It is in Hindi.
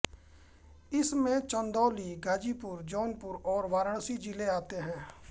इसमें चंदौली गाज़ीपुर जौनपुर और वाराणसी जिले आते हैं